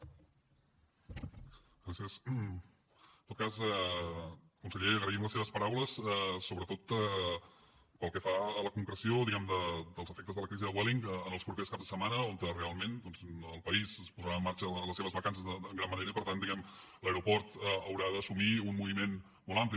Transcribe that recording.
en tot cas conseller agraïm les seves paraules sobretot pel que fa a la concreció diguem ne dels efectes de la crisi de vueling en els propers caps de setmana on realment doncs el país posarà en marxa les seves vacances en gran manera i per tant diguem ne l’aeroport haurà d’assumir un moviment molt ampli